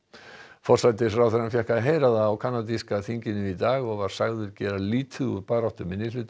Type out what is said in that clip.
forsætisráðherrann fékk að heyra það á kanadíska þinginu í dag og var sagður gera lítið úr baráttu minnihlutahópa